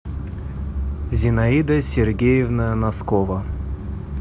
зинаида сергеевна носкова